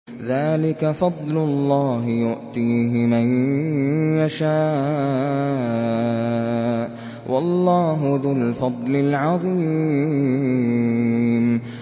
ذَٰلِكَ فَضْلُ اللَّهِ يُؤْتِيهِ مَن يَشَاءُ ۚ وَاللَّهُ ذُو الْفَضْلِ الْعَظِيمِ